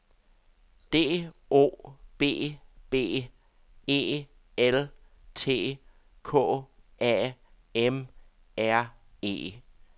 D O B B E L T K A M R E